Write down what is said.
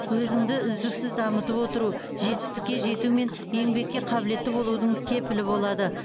өзіңді үздіксіз дамытып отыру жетістікке жету мен еңбекке қабілетті болудың кепілі болады